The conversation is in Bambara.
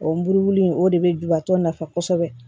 O buruburu in o de bɛ jubatɔ nafa kosɛbɛ